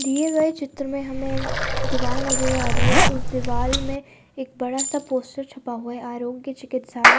दिए गए चित्र में हमें दिवाल नजर आ रही है उस दिवाल में एक बड़ा सा पोस्टर छपा हुआ है आरोग्य चिकित्सालय।